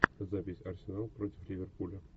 запись арсенал против ливерпуля